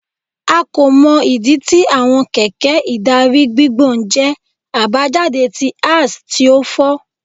A ko mọ idi ti awọn kẹkẹ idari gbigbọn jẹ abajade ti axle ti o fọ